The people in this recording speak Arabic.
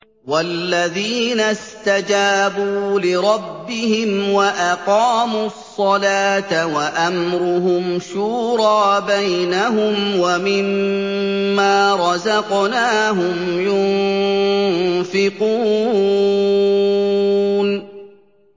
وَالَّذِينَ اسْتَجَابُوا لِرَبِّهِمْ وَأَقَامُوا الصَّلَاةَ وَأَمْرُهُمْ شُورَىٰ بَيْنَهُمْ وَمِمَّا رَزَقْنَاهُمْ يُنفِقُونَ